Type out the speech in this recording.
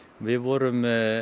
við vorum